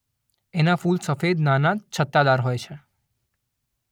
એનાં ફૂલ સફેદ નાનાં છત્તાદાર હોય છે.